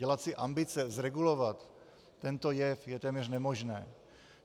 Dělat si ambice zregulovat tento jev je téměř nemožné.